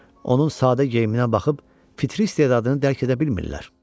Onun sadə geyiminə baxıb fitri istedadını dərk edə bilmirlər.